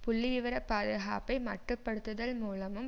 புள்ளி விவர பாதுகாப்பை மட்டுப்படுத்துல் மூலமும்